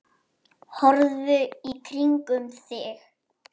Horfðu í kringum þig!